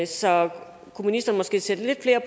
så kunne ministeren måske sætte lidt flere